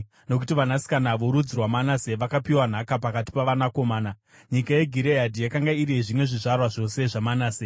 nokuti vanasikana vorudzi rwaManase vakapiwa nhaka pakati pavanakomana. Nyika yeGireadhi yakanga iri yezvimwe zvizvarwa zvose zvaManase.